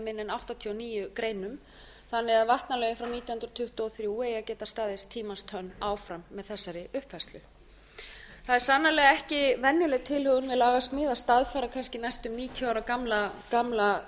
áttatíu og níu greinum þannig að vatnalögin frá nítján hundruð tuttugu og þrjú eigi að geta staðist tímans tönn áfram með þessari uppfærslu það er sannarlega ekki venjuleg tilhögun með lagasmíð að staðfæra kannski næstu níutíu ára gamla löggjöf